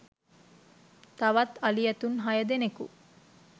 තවත් අලි – ඇතුන් හය දෙනකු